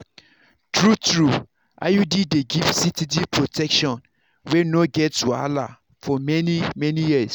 true-true iud dey give steady protection wey no get wahala for many-many years.